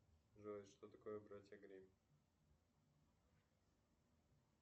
джой что такое братья гримм